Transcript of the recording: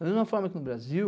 Da mesma forma que no Brasil,